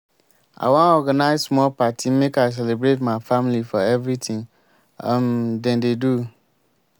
i wan organize small party make i celebrate my family for everytin um dem dey do.